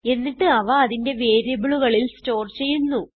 എന്നിട്ട് അവ അതിന്റെ വേരിയബിളുകളിൽ സ്റ്റോർ ചെയ്യുന്നു